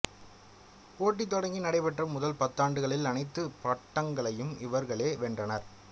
போட்டி தொடங்கி நடைபெற்ற முதல் பத்தாண்டுகளில் அனைத்து பட்டங்களையும் இவர்களே வென்றனர்